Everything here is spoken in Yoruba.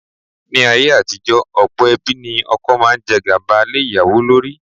Ní ayé àtijọ́, ọ̀pọ̀ ẹbí ní ọkọ máa ń jẹ́ gàba lé ìyàwó lórí.